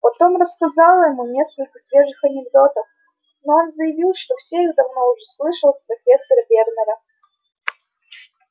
потом рассказала ему несколько свежих анекдотов но он заявил что все их давно уже слышал от профессора вернера